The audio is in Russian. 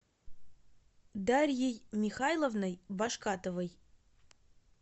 дарьей михайловной башкатовой